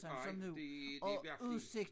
Nej det det virkelig